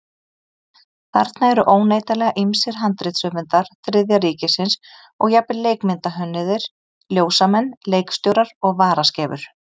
Þarna eru óneitanlega ýmsir handritshöfundar Þriðja ríkisins og jafnvel leikmyndahönnuðir, ljósamenn, leikstjórar og varaskeifur.